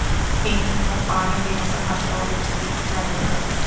ਪੀਣ ਨੂੰ ਪਾਣੀ ਬੇਅੰਤ ਮਾਤਰਾ ਵਿੱਚ ਦੀ ਇਜਾਜ਼ਤ ਹੈ